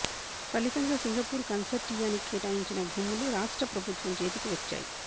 ఫలితంగా సింగపూర్ కన్సార్టియానికి కేటాయించిన భూములు రాష్ట్ర ప్రభుత్వం చేతికి వచ్చాయి